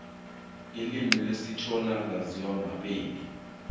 ilimi lesishona laziwa mapedi